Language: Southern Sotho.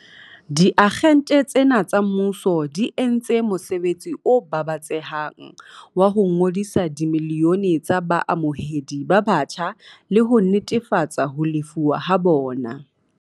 Diagente tsena tsa mmuso di entse mosebetsi o babatsehang wa ho ngodisa dimilione tsa baamohedi ba batjha le ho netefatsa ho lefuwa ha bona.